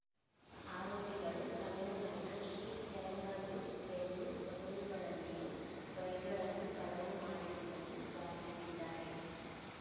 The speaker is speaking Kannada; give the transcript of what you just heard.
ಆರೋಪಿಗಳು ತಮಿಳುನಾಡಿನ ಶ್ರೀ ಫೆರಂಬದೂರ್ ವೆಲ್ಲೂರ್ ಹೊಸೂರುಗಳಲ್ಲಿಯೂ ಬೈಕ್‌ಗಳನ್ನು ಕಳವು ಮಾಡಿರುವುದನ್ನು ಬಾಯ್ಬಿಟ್ಟಿದ್ದಾರೆ